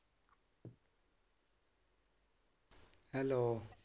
Hello.